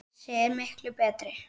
Þessi er miklu betri.